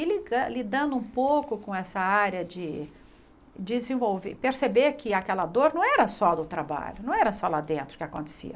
E ligan lidando um pouco com essa área de desenvolver, perceber que aquela dor não era só do trabalho, não era só lá dentro que acontecia.